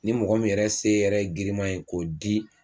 Ni mɔgɔ min yɛrɛ se yɛrɛ ye girinma ye k'o di